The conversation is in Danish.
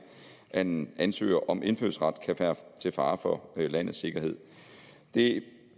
at en ansøger om indfødsret kan være til fare for landets sikkerhed det